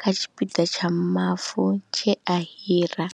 kha tshipiḓa tsha mavu tshe a hira.